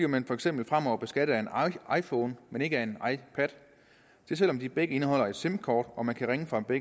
man for eksempel fremover bliver beskattet af en iphone men ikke af en ipad selv om de begge indeholder et sim kort og man kan ringe fra dem